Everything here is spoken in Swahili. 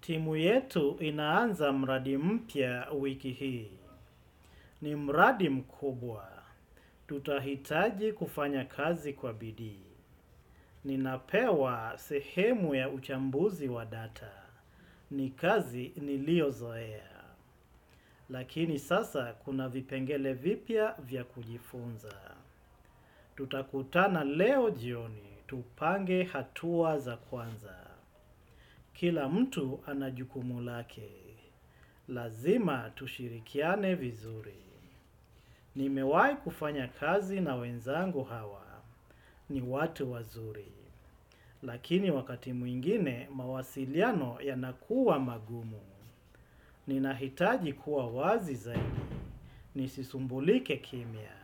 Timu yetu inaanza mradi mpya wiki hii. Ni mradi mkubwa. Tutahitaji kufanya kazi kwa bidii. Ninapewa sehemu ya uchambuzi wa data. Ni kazi niliyozoea. Lakini sasa kuna vipengele vipya vya kujifunza. Tutakutana leo jioni. Tupange hatua za kwanza. Kila mtu ana jukumu lake. Lazima tushirikiane vizuri. Nimewahi kufanya kazi na wenzangu hawa. Ni watu wazuri. Lakini wakati mwingine, mawasiliano yanakuwa magumu. Ninahitaji kuwa wazi zaidi. Nisisumbulike kimya.